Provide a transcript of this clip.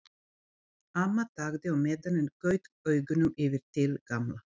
Amma þagði á meðan en gaut augunum yfir til Gamla.